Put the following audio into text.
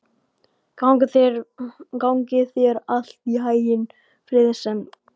Gangi þér allt í haginn, Friðsemd.